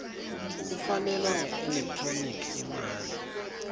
kufakelwa ngeelekthroniki imali